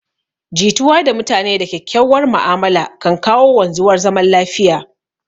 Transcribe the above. Jituwa da mutane da kyakkyauwar ma'amala kan kawo wanzuwar zaman lafiya